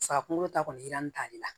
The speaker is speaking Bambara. Sa kunkolo ta kɔni jiranlen t'ale la